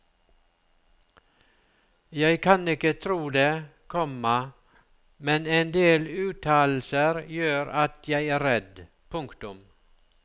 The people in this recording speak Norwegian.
Jeg kan ikke tro det, komma men endel uttalelser gjør at jeg er redd. punktum